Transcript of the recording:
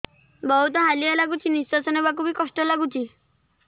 ବହୁତ୍ ହାଲିଆ ଲାଗୁଚି ନିଃଶ୍ବାସ ନେବାକୁ ଵି କଷ୍ଟ ଲାଗୁଚି